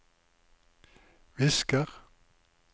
visker